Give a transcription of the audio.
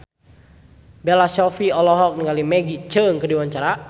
Bella Shofie olohok ningali Maggie Cheung keur diwawancara